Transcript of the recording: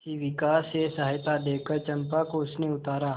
शिविका से सहायता देकर चंपा को उसने उतारा